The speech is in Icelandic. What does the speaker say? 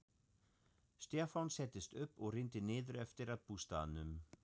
Stefán settist upp og rýndi niður eftir að bústaðnum.